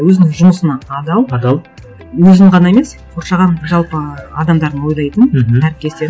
өзінің жұмысына адал адал өзін ғана емес қоршаған жалпы адамдарын ойлайтын мхм әріптестерін